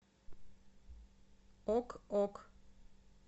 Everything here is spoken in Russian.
ок ок